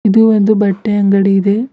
ಇದು ಒಂದು ಬಟ್ಟೆ ಅಂಗಡಿ ಇದೆ.